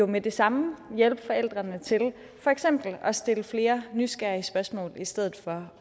med det samme hjælpe forældrene til for eksempel at stille flere nysgerrige spørgsmål i stedet for